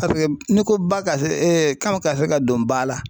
Paseke n'i ko ba ka se kan ka se ka don ba la.